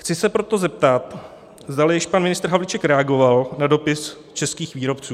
Chci se proto zeptat, zdali již pan ministr Havlíček reagoval na dopis českých výrobců.